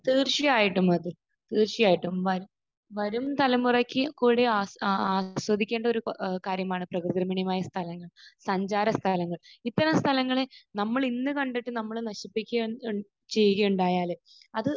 തീർച്ചയായിട്ടും, അഖിൽ. തീർച്ചയായിട്ടും. വ...വരും തലമുറക്ക് കൂടെ ആ ആ ആസ്വദിക്കേണ്ട ഏഹ് ഒരു കാര്യമാണ് പ്രകൃതിരമണീയമായ സ്ഥലം സഞ്ചാരമെന്ന് പറയുന്നത്. ഇപ്പോൾ സ്ഥലങ്ങൾ നമ്മൾ ഇന്ന് കണ്ടിട്ട് നമ്മൾ നശിപ്പിക്കാൻ ചെയ്യുകയുണ്ടായാൽ അത്